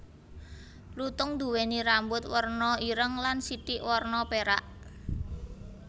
Lutung nduwèni rambut warna ireng lan sithik warna pérak